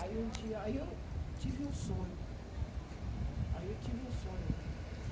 Aí um dia, aí eu tive um sonho, aí eu tive um sonho, né?